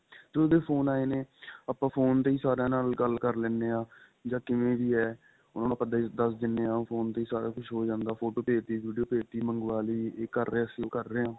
ਜਦੋ ਦੇ phone ਆਏ ਨੇ ਆਪਾਂ phone ਤੇ ਹੀ ਸਾਰੀਆਂ ਨਾਲ ਗੱਲ ਕਰ ਲੈਣੇ ਆ ਜਾਂ ਕਿਵੇਂ ਵੀ ਏ ਉਹਨਾ ਨੂੰ ਆਪਾਂ ਦਸ ਦਿਨੇ ਆ phone ਤੇ ਹੀ ਸਾਰਾ ਕੁੱਝ ਹੋ ਜਾਂਦਾ photo ਭੇਜ ਤੀ video ਭੇਜ ਤੀ ਮੰਗਵਾਲੀ ਇਹ ਕਰ ਰਹੇ ਆ ਅਸੀਂ ਉਹ ਕਰ ਰਹੇ ਆ